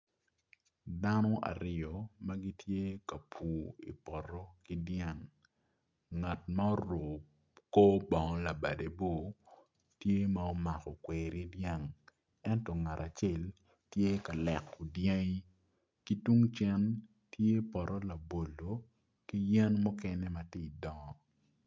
Dano aryo ma gitye ka pur i poto ki dyang ngat ma oruko kor bongo labadebor tye ma omako kweri dyang ento ngat acel tye ka leko dyangi ki tung cen tye poto labolo ki yen mukene ma tye ka dongo.